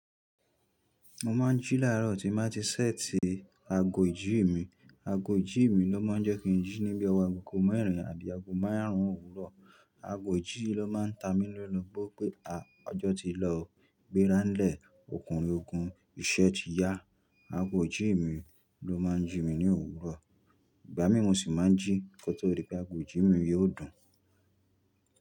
Mo máa ń jí láàrọ̀ tí mo bá ti ṣẹ́tí ago ìjí mi. Ago ìjí mi ló máa ń jẹ́ kí n jí níbí ọwọ́ agogo mẹ́rin àbí agogo márùn-ún òwúrọ̀. Ago ìjí ló máa ń ta mí lóbo pé, a! Ọjọ́ ti lọ, gbéra ńlẹ̀, òkunrin oògùn, iṣẹ́ ti yá. Ago ìjí mi ló máa ń jí mi ní òwúrọ̀. Ìgbá mi mò ṣì máa ń jí kó tó rí pé ago ìjí mi yóò dùn.